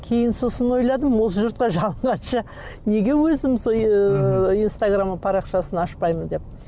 кейін сосын ойладым осы жұртқа жалынғанша неге өзім ыыы инстаграм парақшасын ашпаймын деп